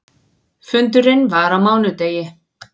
Fundurinn var á mánudegi.